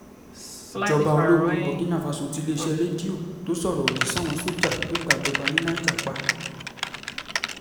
ìjọba ológun burkina faso tiléeṣẹ́ rédíò tó sọ̀rọ̀ òdì sáwọn só̩jà tó gbàjọba ní niger pa